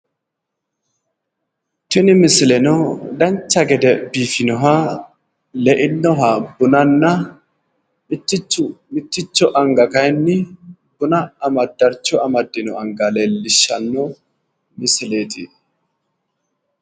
Tini misileno dancha gede biifinoha leinnoha bunanna mitticho anga kayinni darcho amaddino anga leellishshanno misileeti.